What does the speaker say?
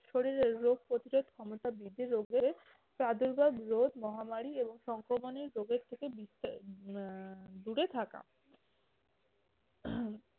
শরীরের রোগ প্রতিরোধ ক্ষমতা বৃদ্ধি, রোগের প্রাদুর্ভাব রোধ মহামারী এবং সংক্রমনের রোগের থেকে নিস্তার আহ দূরে থাকা।